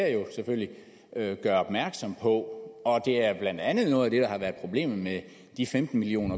selvfølgelig gør opmærksom på og det er blandt andet noget af det der har været problemet med de femten million